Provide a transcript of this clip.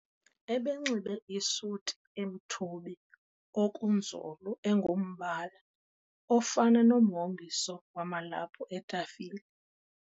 Ebenxibe isuti emthubi okunzulu engumbala ofana nomhomiso wamalaphu etafile.